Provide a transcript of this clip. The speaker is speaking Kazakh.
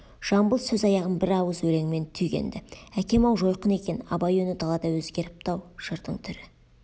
жамбыл сөз аяғын бір ауыз өлеңмен түйген-ді әкем-ау жойқын екен абай үні далада өзгеріпті-ау жырдың түрі